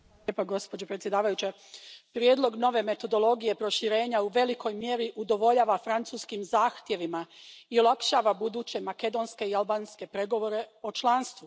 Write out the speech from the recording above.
Poštovana predsjedavajuća, prijedlog nove metodologije proširenja u velikoj mjeri udovoljava francuskim zahtjevima i olakšava buduće makedonske i albanske pregovore o članstvu.